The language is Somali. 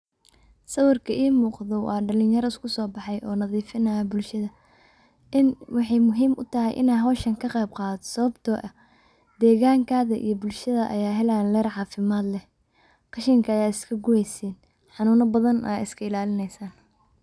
Sawirka imuqdo wa dalinyaro iskusobexe oo nadifinayo bulshada wexey muhiim utahay inn kaqeyb qadato sawabto ah degankada iyo bulshada aya helayo heer cafimad eeh qashinka ayad iskaguweysin oo daan ayad iskailalini.